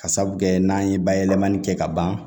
Ka sababu kɛ n'an ye bayɛlɛmani kɛ ka ban